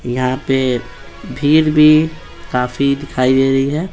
यहाँ पे भीड़ भी काफी दिखाई दे रही है --